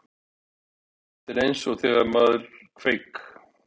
Þetta er eins og þegar maður kveik